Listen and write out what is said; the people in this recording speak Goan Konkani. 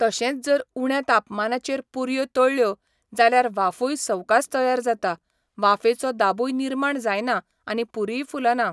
तशेंच जर उण्या तापमानाचेर पुरयो तळ्ळ्यो, जाल्यार वाफूय सवकास तयार जाता, वाफेचो दाबूय निर्माण जायना आनी पुरीय फुलना.